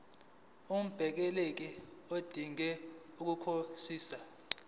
ungumbaleki odinge ukukhosela